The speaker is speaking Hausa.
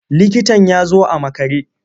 Likitan ya zo a makare.